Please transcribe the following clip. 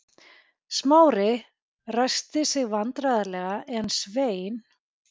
Smári ræskti sig vandræðalega en Svein